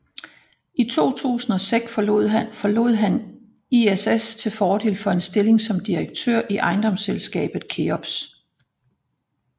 I 2006 forlod han ISS til fordel for en stilling som direktør i ejendomsselskabet Keops